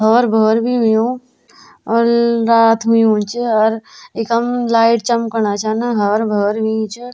और भोर भी होयुं और रात होयुं च अर इखम लाइट चमकणा छन हर भर होयुं च।